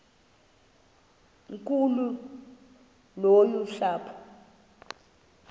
nkulu yolu sapho